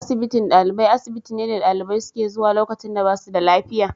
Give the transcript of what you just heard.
Asibitin ɗalibai, asibitin ne dalibai suke zuwa lokacin da ba su da lafiya.